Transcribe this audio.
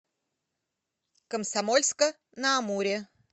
комсомольска на амуре